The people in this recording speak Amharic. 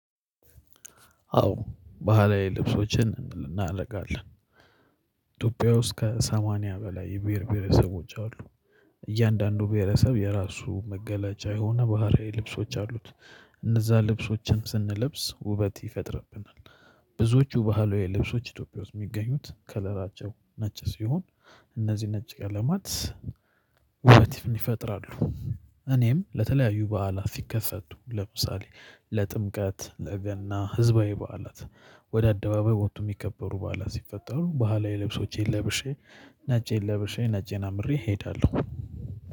አዎ ባህላዊ ልብሶችን እናደርጋለን ኢትዮጵያ ውስጥ ከሰማንያ በላይ የብሄር ብሄረሰቦች አሉ። እያንዳንዱ ብሄረሰብ የራሱ መገለጫ የሆነ ባህሪያዊ ልብሶች አሉት። እነዛ ልብሶችን ስንለብስ ውበት ይፈጥርብናል። ብዙዎቹ ባህላዊ ልብሶች ኢትዮጵያ ውስጥ የሚገኙት ከለራቸው ነጭ ሲሆን እነዚህ ነጭ ቀለማት ዉበትን ይፈጥራሉ እኔም ለተለያዩ በዓላት ሲከሰቱ ለምሳሌ ለጥምቀት ለገና ህዝባዊ በዓላት ወደ አደባባይ ወጥቶ የሚከበሩ በዓላት ሲፈጠሩ በሃላዊ ልብሶቼን ለብሼ ነጬን ለበሼ ነጬን አምሬ እሄዳለሁ።